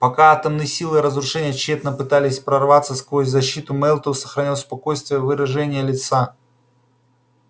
пока атомные силы разрушения тщетно пытались прорваться сквозь защиту мэллтоу сохранял спокойствие выражение лица